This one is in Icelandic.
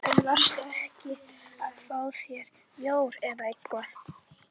En varstu ekki að fá þér bjór eða eitthvað?